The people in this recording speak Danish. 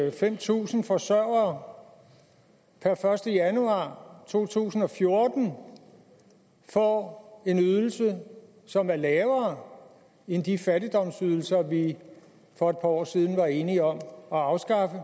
at fem tusind forsørgere per første januar to tusind og fjorten får en ydelse som er lavere end de fattigdomsydelser vi for et par år siden var enige om at afskaffe